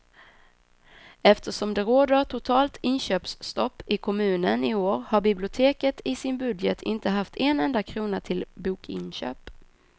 Eftersom det råder totalt inköpsstopp i kommunen i år har biblioteket i sin budget inte haft en enda krona till bokinköp.